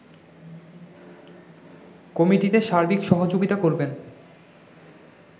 কমিটিতে সার্বিক সহযোগিতা করবেন